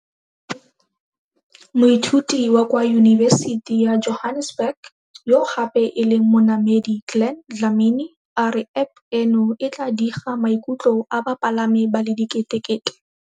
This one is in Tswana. Moithuti wa kwa Yunibesiti ya Johannesburg yo gape e leng monamedi Glen Dlamini a re App eno e tla diga maikutlo a bapalami ba le diketekete.